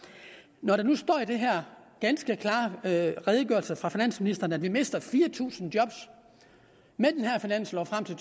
når der nu står i den her ganske klare redegørelse fra finansministeren at vi mister fire tusind job med den her finanslov frem til